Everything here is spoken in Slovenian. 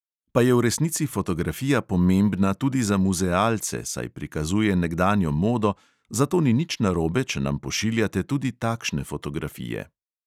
Pa je v resnici fotografija pomembna tudi za muzealce, saj prikazuje nekdanjo modo, zato ni nič narobe, če nam pošiljate tudi takšne fotografije.